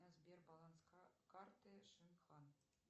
сбер баланс карты шинхан